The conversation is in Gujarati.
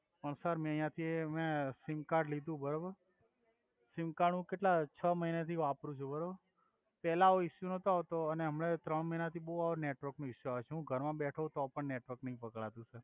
અ સર મે આયાથી મે અ સિમ કાર્ડ લિધુ બરોબર સિમ કાર્ડ કેટ્લા હુ છ મહિના થી વાપ્રુ છુ બરોબર પેલા આવો ઇસ્યુ નોતો આવ્તો અને હમના ત્રણ મહિના થી બોવ આવે નેટવોર્ક નો ઇસ્યુ આવે સુ ઘર મા બેઢો હોય તો પણ નેટવોર્ક નઈ પક્ડાતુ સર